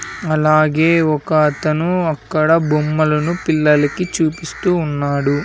అలాగే ఒక అతను అక్కడ బొమ్మలను పిల్లలకి చూపిస్తూ ఉన్నాడు.